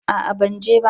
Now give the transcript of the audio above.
A'a ban je ba